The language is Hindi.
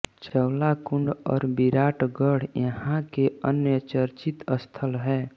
चौलाकुंज और बिराटगढ़ यहां के अन्य चर्चित स्थल हैं